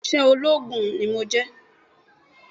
Bẹ́ẹ̀ni òṣìṣẹ́ ológun ni mí